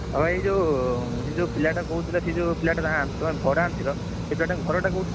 ତମେ ଏ ଯୋଉ ସେ ଯୋଉ ପିଲାଟା କହୁଥିଲ ସେ ଯୋଉ ପିଲାଟା ତମେ ଭଡା ଆଣିଥିଲ, ସେ ପିଲାଟାର ଘରଟା କଉଠି?